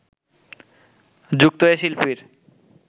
যুক্ত এ শিল্পীর